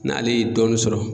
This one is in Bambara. N'ale ye dɔɔnin sɔrɔ